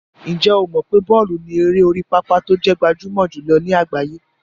Ǹjẹ́ o mọ̀ pé bọ́ọ̀lù ni eré orí pápá tó jẹ́ gbajúmọ̀ jùlọ ní àgbáyé?